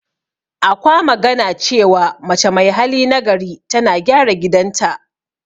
Akwa magana cewa, mace mai hali na gari tana gyara gidan ta.